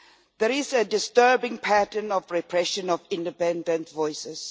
There is a disturbing pattern of repression of independent voices.